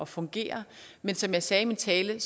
fungere men som jeg sagde i min tale